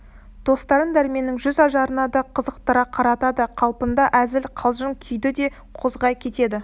достарын дәрменнің жүз ажарына да қызықтыра қаратады қалпында әзіл қалжың күйді де қозғай кетеді